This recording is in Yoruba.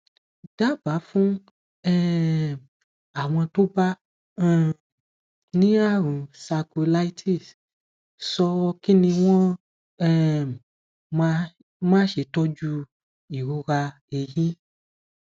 daba fún um àwọn tó bá um ní àrùn sacroiliitis ṣo kini wọn um máa se tọjú ìrora ẹyìn